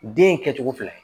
Den kɛcogo fila ye